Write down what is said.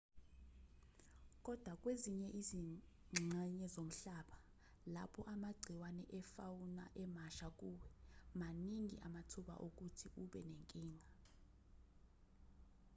kodwa kwezinye izingxenye zomhlaba lapho amagciwane e-fauna emasha kuwe maningi amathuba okuthi ube nenkinga